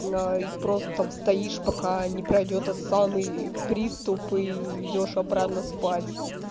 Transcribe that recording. ну и просто стоишь пока не пройдёт тот самый приступ и идёшь обратно спать